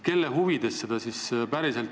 Kelle huvides seda ikkagi blokeeritakse?